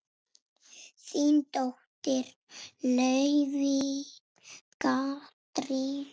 Þín dóttir, Laufey Katrín.